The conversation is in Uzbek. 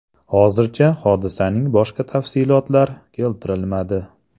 Hozircha hodisaning boshqa tafsilotlar keltirilmadi.